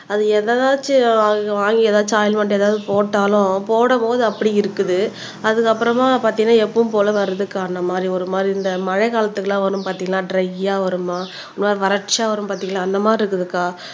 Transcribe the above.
அது எதனாச்சும் வா வாங்கி ஏதாச்சும் ஓல்ட்மேன்ட் ஏதாவது போட்டாலும் போடும்போது அப்படி இருக்குது அதுக்கப்புறமா பார்த்தீங்கன்னா எப்பவும் போல வர்றதுக்குக்கா அந்த மாதிரி ஒரு மாதிரி இந்த மழைக்காலத்துக்கு எல்லாம் வரும் பார்த்தீங்கன்னா ட்ரயா வருமாம். ஒரு மாதிரி வறட்சியா வரும் பார்த்தீங்களா அந்த மாதிரி இருக்குதுக்கா